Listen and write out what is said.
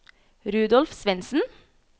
Rudolf Svendsen